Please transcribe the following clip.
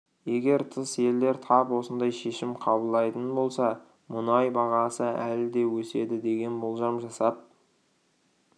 егер тыс елдер тап осындай шешім қабылдайтын болса мұнай бағасы әлі де өседі деген болжам жасап